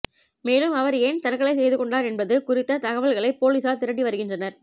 மேலும் அவர் ஏன் தற்கொலை செய்து கொண்டார் என்பது குறித்த தகவல்களை போலீசார் திரட்டி வருகின்றனர்